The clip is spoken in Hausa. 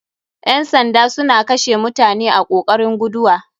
Ƴan sandan suna kashe mutane a kokarin guduwa.